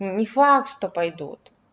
не факт что пойдут